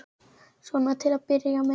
Svona til að byrja með.